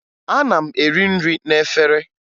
Ana m eri nri n'efere